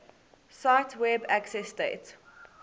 cite web accessdate